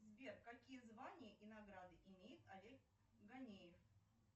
сбер какие звания и награды имеет олег ганеев